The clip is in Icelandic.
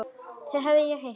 Þau hef ég heyrt.